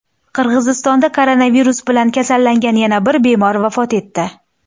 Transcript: Qirg‘izistonda koronavirus bilan kasallangan yana bir bemor vafot etdi.